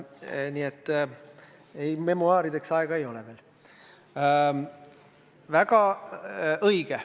Nii et ei, memuaarideks siis veel aega ei ole.